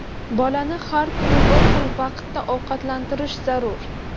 Bolani har kuni bir xil vaqtda ovqatlantirish zarur.